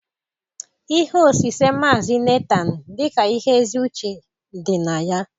Ihe osise Maazị Netaan dị ka ihe ezi uche dị na ya